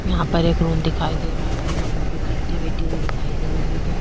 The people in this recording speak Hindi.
यहाँ पर एक रूम दिखाई दे रहा है रूम में कोई लड़कियां बैठी हुई दिखाई दे रही हैं।